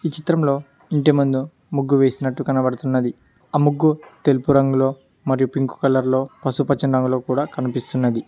ఈ చిత్రంలో ఇంటి ముందు ముగ్గు వేసి నట్టు కనబడుతున్నది ఆ ముగ్గు తెలుపు రంగులో మరియు పింక్ కలర్లో పసుపు పచ్చని రంగులో కూడా కనిపిసున్నది.